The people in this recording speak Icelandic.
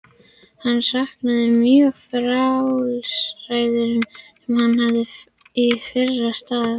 Hann saknar mjög frjálsræðisins sem hann hafði í fyrra starfi.